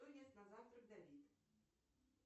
что ест на завтрак давид